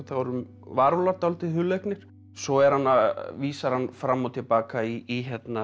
honum varúlfar dálítið hugleiknir svo vísar hann fram og til baka í